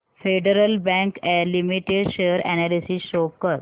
federal Bank Limited share analysis show कर